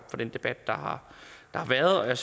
den debat der har været og jeg